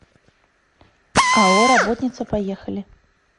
ао работница поехали